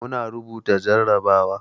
Muna rubuta jarabawa.